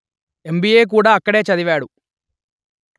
MBA కూడా అక్కడే చదివాడు